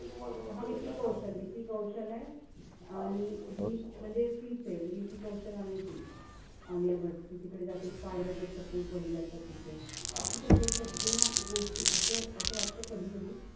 हा तो विकी कौशल, विकी कौशल ए. आणि हि म्हणजे तिचे विकी कौशल आणि ती आलिया भट. ती तिकडे जाते spy वडील असतात तिचे. आता हेसगळ्या गोष्टी असं असं वाटत कधी-कधी,